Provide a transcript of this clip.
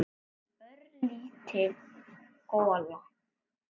Örlítil gola.